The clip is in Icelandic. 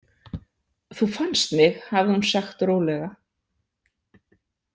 Þú fannst mig, hafði hún sagt rólega.